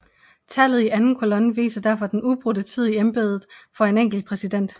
Tallet i anden kolonne viser derfor den ubrudte tid i embedet for en enkelt præsident